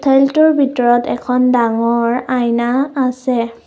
হলটোৰ ভিতৰত এখন ডাঙৰ আইনা আছে।